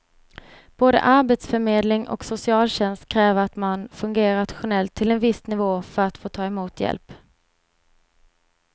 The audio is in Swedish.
Både arbetsförmedling och socialtjänst kräver att man fungerar rationellt till en viss nivå för att få ta emot hjälp.